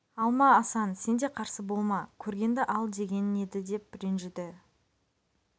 алма асан сен де қарсы болма көргенді ал деген еді деп ренжіді